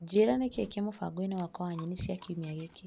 Njĩra nikii kĩ mũbango-inĩ wakwa wa nyeni cia kiumia gĩkĩ.